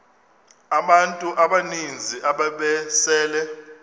abantu abaninzi ababesele